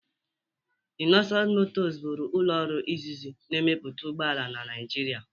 Innoson Motors bụrụ ụlọ ọrụ izizi na-emepụta ụgbọ ala na Naịjirịa.,